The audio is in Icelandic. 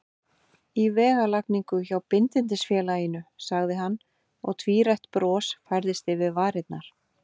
Í vegalagningu hjá Bindindisfélaginu, sagði hann, og tvírætt bros færðist yfir varirnar.